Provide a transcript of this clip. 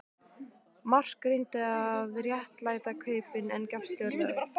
Mark reyndi að réttlæta kaupin en gafst fljótlega upp.